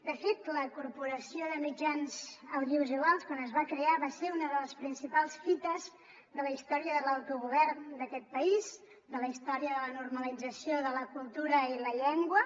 de fet la corporació de mitjans audiovisuals quan es va crear va ser una de les principals fites de la història de l’autogovern d’aquest país de la història de la normalització de la cultura i la llengua